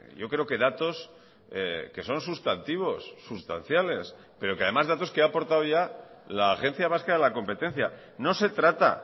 yo creo que datos que son sustantivos sustanciales pero que además datos que ha aportado ya la agencia vasca de la competencia no se trata